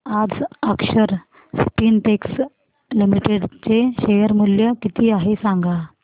आज Akshar Spintex limited चे share मूल्य किती आहे सांगा